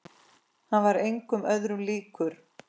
Hann var engum öðrum líkur.